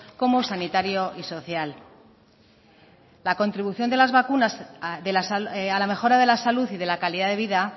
como sanitario y social la contribución de las vacunas a la mejora de la salud y de la calidad de vida